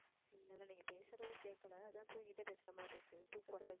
இல்ல இல்ல நீங்க பேசுறது கேட்கலை அதான் தூங்கிட்டே பேசுற மாதிரி இருக்கு.